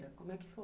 Como é que foi?